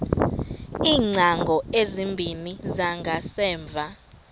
iingcango ezimbini zangasemva